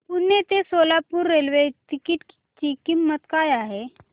पुणे ते Solapur railway ticket ची किंमत काय आहे